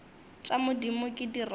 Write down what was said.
tša modimo ke di rata